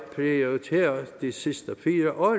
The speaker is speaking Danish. prioriteret de sidste fire år